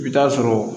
I bɛ taa sɔrɔ